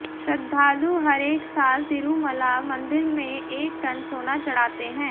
श्रद्धालु हरेक साल तिरुमला मंदिर में एक टन सोना चढ़ाते हैं